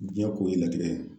Diɲɛ ko ye latigɛ ye